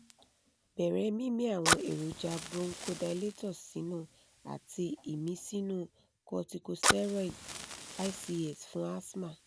bere mimi àwọn èròjà bronchodilators sinu àti imisinu corticosteroid (ics) fún asthma